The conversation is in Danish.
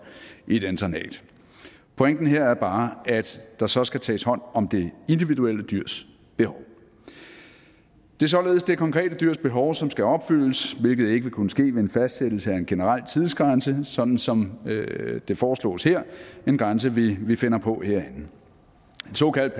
i et internat pointen her er bare at der så skal tages hånd om det individuelle dyrs behov det er således det konkrete dyrs behov som skal opfyldes hvilket ikke vil kunne ske med en fastsættelse af en generel tidsgrænse sådan som det foreslås her en grænse vi finder på herinde en såkaldt